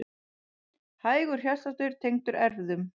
Hægur hjartsláttur tengdur erfðum